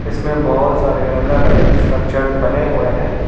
इसमें बहोत सारे अलग अलग स्ट्रक्चर्स बने हुए हैं।